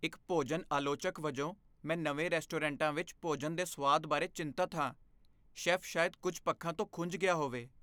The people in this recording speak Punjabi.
ਇੱਕ ਭੋਜਨ ਆਲੋਚਕ ਵਜੋਂ, ਮੈਂ ਨਵੇਂ ਰੈਸਟੋਰੈਂਟਾਂ ਵਿੱਚ ਭੋਜਨ ਦੇ ਸੁਆਦ ਬਾਰੇ ਚਿੰਤਤ ਹਾਂ। ਸ਼ੈੱਫ ਸ਼ਾਇਦ ਕੁੱਝ ਪੱਖਾਂ ਤੋਂ ਖੁੰਝ ਗਿਆ ਹੋਵੇ।